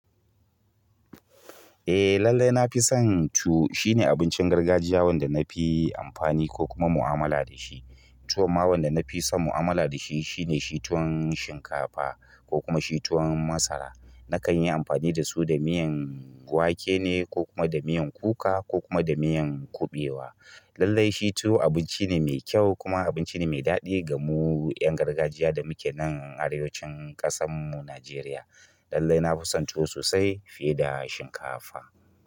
Eh lallai nafison tuwo, shine abincin gargajiya wanda nafi amfani ko nadi mu'amala dashi. Tuwon ma wanda na fi son mu'amala da shi shine shituwan shinkafa ko kuma shi tuwon masara. Nakan yi amfani da su da miyan wake ne ko kuma da miyan kuka ko kuma da miyan kuɓewa. Lallai shi tuwo abinci ne mai kyau kuma abinci ne mai daɗi gamu ƴan gargajiya da muke nan a arewacin ƙasan mu Nijeriya. Lallai na fi son tuwo sosai fiye da shinkafa.